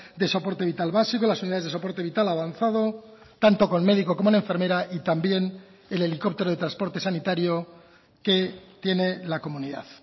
de soporte vital básico las unidades de soporte vital avanzado tanto con médico como una enfermera y también el helicóptero de transporte sanitario que tiene la comunidad